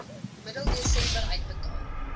middel desember uitbetaal